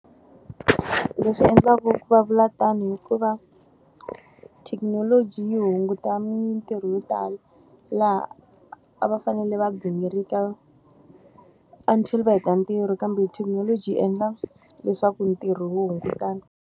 Leswi endlaku va vula tano hikuva, thekinoloji yi hunguta mintirho yo tala. Laha a va fanele va gingirika until va heta ntirho, kambe thekinoloji yi endla leswaku ntirho wu hungutana.